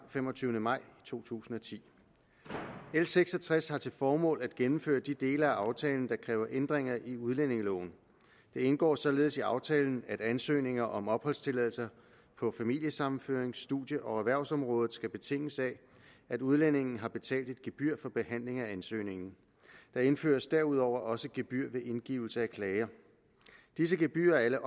femogtyvende maj to tusind og ti l seks og tres har til formål at gennemføre de dele af aftalen der kræver ændringer i udlændingeloven det indgår således i aftalen at ansøgninger om opholdstilladelser på familiesammenførings studie og erhvervsområdet skal betinges af at udlændingen har betalt et gebyr for behandlingen af ansøgningen der indføres derudover også gebyr ved indgivelse af klager disse gebyrer er alle